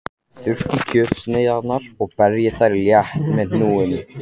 Þurrkið kjötsneiðarnar og berjið þær létt með hnúunum.